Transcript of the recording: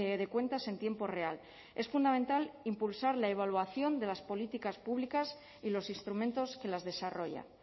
de cuentas en tiempo real es fundamental impulsar la evaluación de las políticas públicas y los instrumentos que las desarrollan